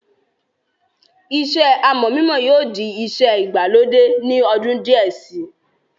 iṣẹ́ amọ̀ mímọ yóò di iṣẹ́ ìgbàlódé ní ọdún díẹ̀ si